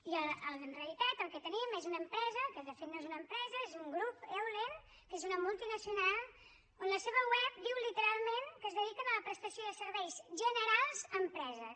i en realitat el que tenim és una empresa que de fet no és una empresa és un grup eulen que és una multinacional on la seva web diu literalment que es dediquen a la prestació de serveis generals a empreses